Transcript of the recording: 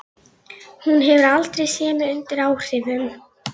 Hún hefur aldrei séð mig undir áhrifum.